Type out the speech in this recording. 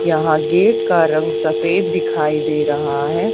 यहां गेट का रंग सफेद दिखाई दे रहा है।